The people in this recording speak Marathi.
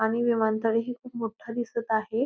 आणि विमानतळ ही खूप मोठं दिसत आहे.